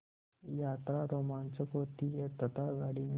यात्रा रोमांचक होती है तथा गाड़ी में